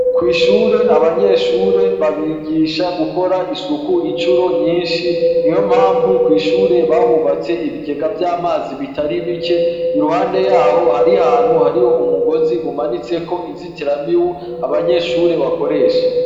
ku ishure abanyeshure babigisha gukora isuku incuro nyinshi niyompamvu kw’ ishure bahubatse ibigega vy'amazi bitari bike iruhande yaho hari ahantu hariho umugozi umanitseko inzitira mibu abanyeshure bakoresha.